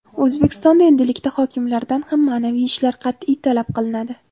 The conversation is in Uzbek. O‘zbekistonda endilikda hokimlardan ham ma’naviy ishlar qat’iy talab qilinadi.